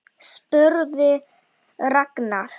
spurði Ragnar.